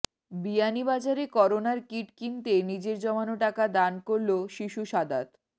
বিয়ানীবাজারে করোনার কীট কিনতে নিজের জমানো টাকা দান করলো শিশু সাদাত